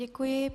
Děkuji.